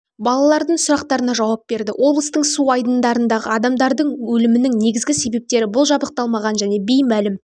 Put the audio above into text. балалардың сұрақтарына жауап берді облыстың су айдындарындағы адамдардың өлімінің негізгі себептері бұл жабдықталмаған және беймәлім